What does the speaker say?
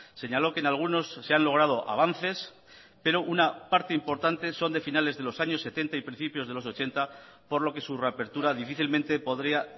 señaló que en algunos se han logrado avances pero una parte importante son de finales de los años setenta y principios de los ochenta por lo que su reapertura difícilmente podría